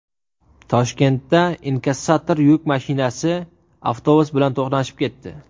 Toshkentda inkassator yuk mashinasi avtobus bilan to‘qnashib ketdi .